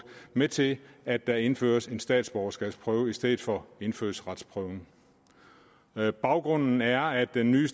med til at der indføres en statsborgerskabsprøve i stedet for indfødsretsprøven baggrunden er at den nye